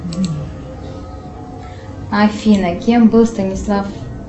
афина кем был станислав